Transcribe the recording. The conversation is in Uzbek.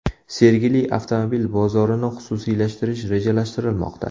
Sergeli avtomobil bozorini xususiylashtirish rejalashtirilmoqda.